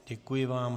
Děkuji vám.